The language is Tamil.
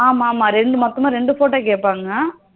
ஆமா ஆமா ரெண்டு மட்டும்தா ரெண்டு photo கேட்டாங்க